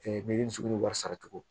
milimiso wari sara cogo